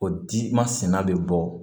O di masinɛ bɛ bɔ